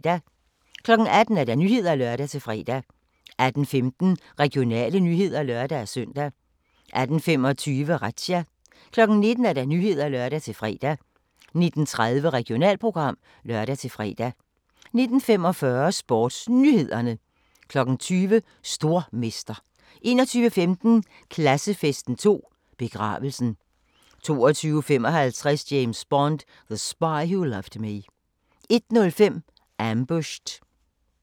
18:00: Nyhederne (lør-fre) 18:15: Regionale nyheder (lør-søn) 18:25: Razzia 19:00: Nyhederne (lør-fre) 19:30: Regionalprogram (lør-fre) 19:45: SportsNyhederne 20:00: Stormester 21:15: Klassefesten 2: Begravelsen 22:55: James Bond: The Spy Who Loved Me 01:05: Ambushed